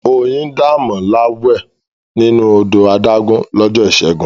Oyindamola wẹ̀ nínú odò adágún lọ́jọ́ Ìṣẹ́gun.